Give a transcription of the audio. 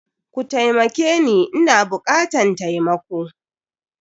Kutaimakeni Ina bukatan taimako.